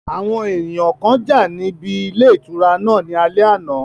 Àwọn èèyàn kan jà níbi ilé ìtura náà ní alẹ́ àná